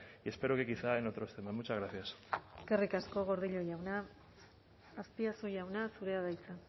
y espero que quizá en otros temas muchas gracias eskerrik asko gordillo jauna azpiazu jauna zurea da hitza